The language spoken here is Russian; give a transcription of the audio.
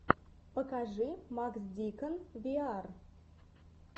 покажи макс дикон виар